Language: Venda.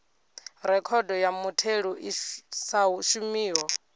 rekhodo ya mutheli i sa shumiho